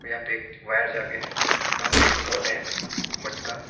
यहाँ पे वायर जागे है वहा पे पोर्ट है मटका--